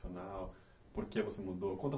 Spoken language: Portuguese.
Porque você mudou, conta